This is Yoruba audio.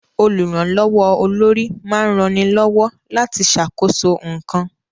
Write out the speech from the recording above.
Olùrànlọ́wọ́ olórí máa ń rani lọ́wọ́ láti ṣàkóso nǹkan